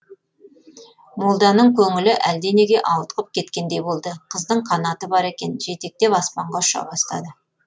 молданың көңілі әлденеге ауытқып кеткендей болды қыздың канаты бар екен жетектеп аспанға ұша бастады